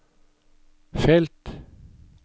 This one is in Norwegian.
felt